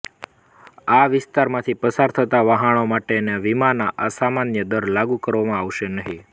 આ વિસ્તારમાથી પસાર થતા વહાણો માટેના વીમાના અસામાન્ય દર લાગુ કરવામાં આવશે નહીં